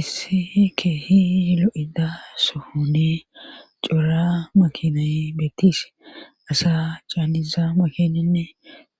isse keehilo7ida suhune cuura makina beettis asa caaniza makininne